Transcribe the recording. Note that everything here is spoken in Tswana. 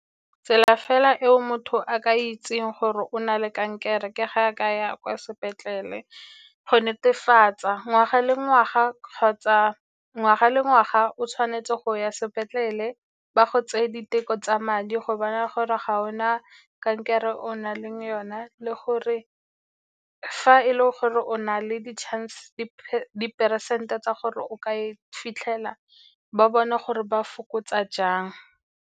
Tsela fela eo motho a ka itseng gore o na le kankere ke ga a ka ya kwa sepetlele go netefatsa ngwaga le ngwaga kgotsa ngwaga le ngwaga o tshwanetse go ya sepetlele ba go tseye diteko tsa madi go bona gore ga o na kankere o na leng yona. Le gore fa e le gore o na le diperesente tsa gore o ka e fitlhela ba bone gore ba fokotsa jang.